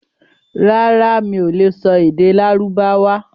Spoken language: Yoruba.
Rárá, mi ò lè sọ èdè Lárúbáwá.